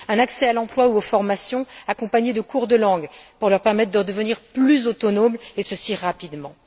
un accès à l'emploi ou aux formations, accompagné de cours de langues pour leur permettre de devenir plus autonomes rapidement.